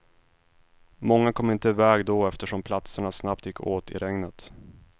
Många kom inte i väg då eftersom platserna snabbt gick åt i regnet.